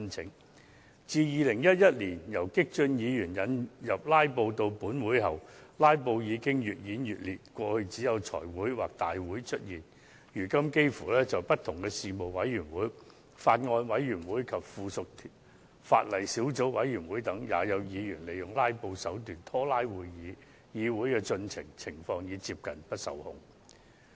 自激進派議員於2011年把"拉布"的手法帶進本會後，"拉布"的情況越演越烈，過去只會在財委會會議或大會上應用，現在卻幾乎所有事務委員會、法案委員會及附屬法例小組委員會也有議員利用"拉布"手段拖延會議，議會的進程已接近不受控。